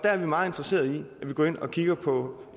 er meget interesserede i at vi går ind og kigger på